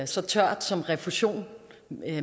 så tørt som refusion